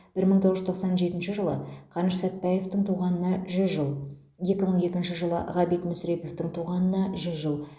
бір мың тоғыз жүз тоқсан жетінші жылы қаныш сәтбаевтың туғанына жүз жыл екі мың екінші жылы ғабит мүсіреповтің туғанына жүз жыл